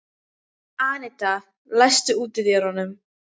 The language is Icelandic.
Annetta, læstu útidyrunum.